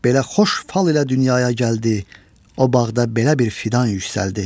Belə xoş fal ilə dünyaya gəldi, o bağda belə bir fidan yüksəldi.